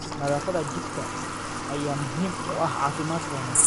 Nadaafadda jikada ayaa muhiim u ah caafimaadka wanaagsan.